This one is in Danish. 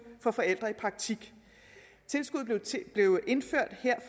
for forældre i praktik tilskuddet blev indført her